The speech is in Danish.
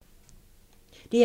DR2